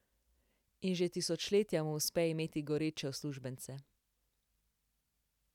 In že tisočletja mu uspe imeti goreče uslužbence.